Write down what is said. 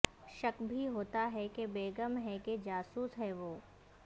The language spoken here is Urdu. شک بھی ہوتا ہے کہ بیگم ہے کہ جاسوس ہے وہ